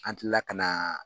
An tila ka na